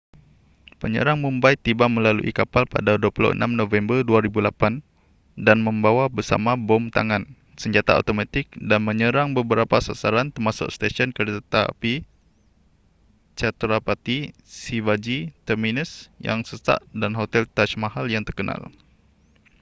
penyerang mumbai tiba melalui kapal pada 26 november 2008 dan membawa bersama bom tangan senjata automatik dan menyerang beberapa sasaran termasuk stesen keretapi chhatrapati shivaji terminus yang sesak dan hotel taj mahal yang terkenal